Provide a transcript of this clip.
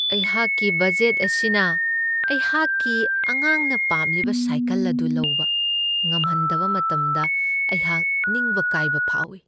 ꯑꯩꯍꯥꯛꯀꯤ ꯕꯖꯦꯠ ꯑꯁꯤꯅ ꯑꯩꯍꯥꯛꯀꯤ ꯑꯉꯥꯡꯅ ꯄꯥꯝꯂꯤꯕ ꯁꯥꯏꯀꯜ ꯑꯗꯨ ꯂꯧꯕ ꯉꯝꯍꯟꯗꯕ ꯃꯇꯝꯗ ꯑꯩꯍꯥꯛ ꯅꯤꯡꯕ ꯀꯥꯏꯕ ꯐꯥꯎꯏ ꯫